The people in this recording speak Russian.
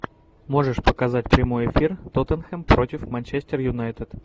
можешь показать прямой эфир тоттенхэм против манчестер юнайтед